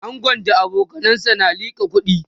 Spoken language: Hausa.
angon da abokanansa na liƙa kuɗi